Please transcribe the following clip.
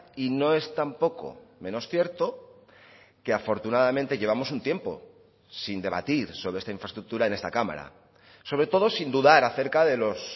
y no es tampoco menos cierto que afortunadamente llevamos un tiempo sin debatir sobre esta infraestructura en esta cámara sobre todo sin dudar acerca de los